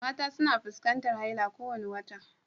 Mata suna fuskantar haila kowane wata